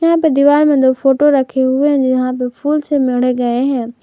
यहां पर दीवार में दो फोटो रखे हुए है जहां पे फूल से मढ़े गए हैं।